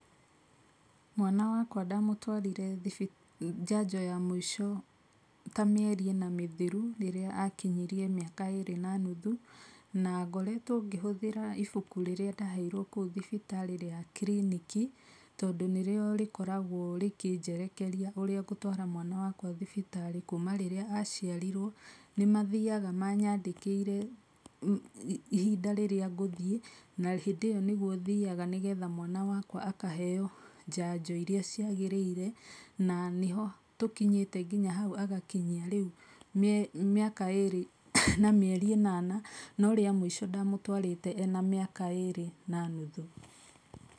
Mwana wakwa ndamũtwarire njanjo ya mũico ta mĩeri ĩna mĩthiru rĩrĩa akinyirie mĩaka ĩrĩ na nuthu na ngoretwo ngĩhũthĩra ibuku rĩrĩa ndaheirwo kũũ thibitarĩ rĩa kiriniki tondũ nĩrĩo rĩkoragwo rĩkĩnjerekeria ũrĩa ngũtwara mwana wakwa thibitarĩ kuma rĩrĩa aciarirwo nĩmathiaga manyandĩkĩire ihinda rĩrĩa ngũthĩe na hĩndĩ ĩyo nĩgũo thiaga nĩgetha mwana wakwa akaheo njanjo iria ciagĩrĩire na nĩho tũkinyĩte nginya hau agakinyia rĩu mĩaka ĩrĩ na mĩeri ĩnana no rĩa mũico ndamũtwarĩte ena mĩaka ĩrĩ na nuthu.